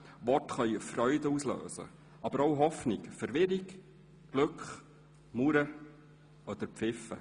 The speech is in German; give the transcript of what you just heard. Worte können Freude auslösen, aber auch Hoffnung, Verwirrung, Glück, Mauern oder Pfiffe.